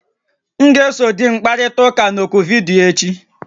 M ga-eso di m kparịta ụka na oku vidiyo echi